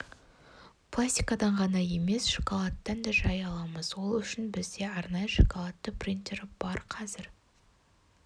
пластикадан ғана емес шоколадттан да жай аламыз ол үшін бізде арнайы шоколадты принтері бар қазір